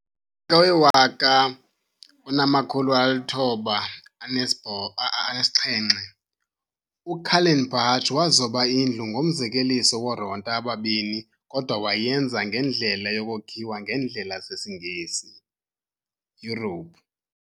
ngo1907, uKallenbach wazoba indlu ngomzekeliso woronta ababini kodwa wayenza ngendlela yokokhiwa ngendlela zesi Ngesi Europe.